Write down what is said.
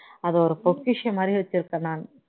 அதை ஒரு பொக்கிஷன் மாதிரி வச்சிருக்கேன் நானு